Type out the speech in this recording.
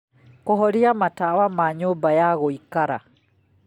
kũhoria matawa ma nyũmba ya gũikara